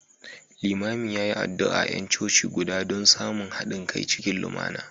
Limamin ya yi addu’a ga ’yan coci guda don samun haɗin kai cikin lumana